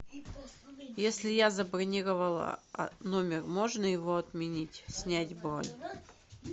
если я забронировала номер можно его отменить снять бронь